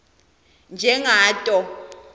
njengato